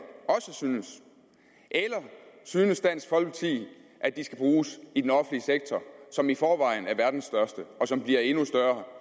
synes eller synes dansk folkeparti at de skal bruges i den offentlige sektor som i forvejen er verdens største og som bliver endnu større